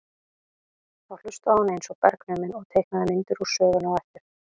Þá hlustaði hún eins og bergnumin og teiknaði myndir úr sögunni á eftir.